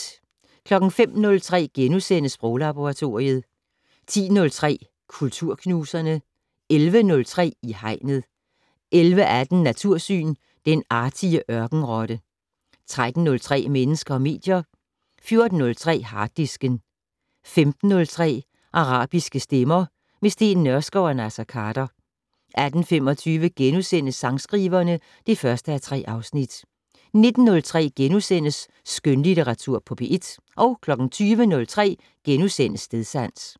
05:03: Sproglaboratoriet * 10:03: Kulturknuserne 11:03: I Hegnet 11:18: Natursyn: Den artige ørkenrotte 13:03: Mennesker og medier 14:03: Harddisken 15:03: Arabiske stemmer - med Steen Nørskov og Naser Khader 18:25: Sangskriverne (1:3)* 19:03: Skønlitteratur på P1 * 20:03: Stedsans *